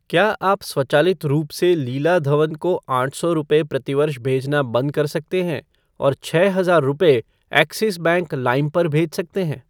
क्या आप स्वचालित रूप से लीला धवन को आठ सौ रुपये प्रतिवर्ष भेजना बंद कर सकते हैं और छः हजार रुपये , एक्सिस बैंक लाइम पर भेज सकते हैं?